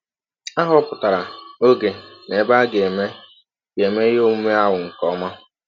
A họpụtara ọge na ebe a ga - eme ga - eme ihe ọmụme ahụ nke ọma.